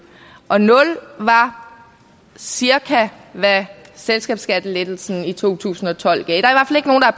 var cirka hvad selskabsskattelettelsen i to tusind og tolv gav